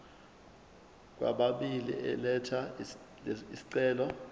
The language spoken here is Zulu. kwababili elatha isicelo